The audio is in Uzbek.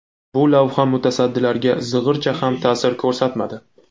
Bu lavha mutasaddilarga zig‘ircha ham ta’sir ko‘rsatmadi.